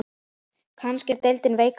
Kannski er deildin veikari?